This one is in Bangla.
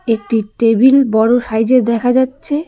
একটি টেবিল বড়ো সাইজের দেখা যাচ্ছে।